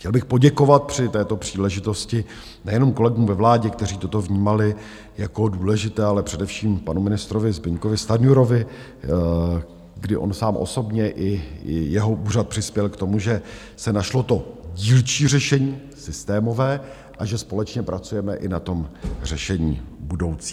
Chtěl bych poděkovat při této příležitosti nejenom kolegům ve vládě, kteří toto vnímali jako důležité, ale především panu ministrovi Zbyňkovi Stanjurovi, kdy on sám osobně i jeho úřad přispěli k tomu, že se našlo to dílčí řešení systémové a že společně pracujeme i na tom řešení budoucím.